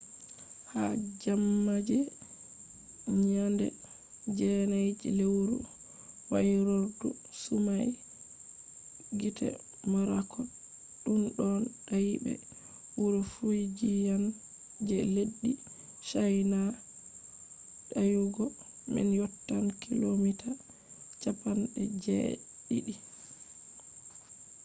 ha jemma je nyande 9 je lewru wairordu sumai gite morakot ɗunno dayi be wuro fujiyan je leddi chaina. dayugo man yottan kilomita cappande je ɗiɗi